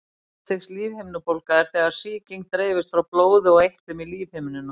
Fyrsta stigs lífhimnubólga er þegar sýking dreifist frá blóði og eitlum í lífhimnuna.